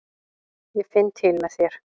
Ég finn til með þér.